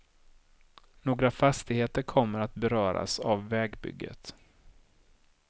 Några fastigheter kommer att beröras av vägbygget.